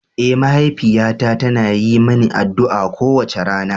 Eh, mahaifiyata tana yi mani addu'a kowace rana.